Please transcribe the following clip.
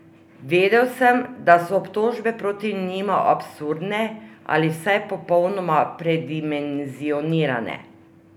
Vedel sem, da so obtožbe proti njima absurdne ali vsaj popolnoma predimenzionirane.